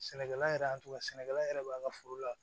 Sɛnɛkɛla yɛrɛ y'a tugun sɛnɛkɛla yɛrɛ b'a ka foro la